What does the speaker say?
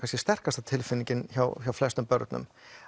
sterkasta tilfinningin hjá hjá flestum börnum